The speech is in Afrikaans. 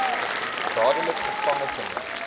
dadelik gevange geneem